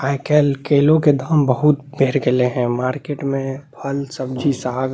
आय-काल केलो के दाम बहुत बेढ गेले है मार्केट में फल सब्जी साग --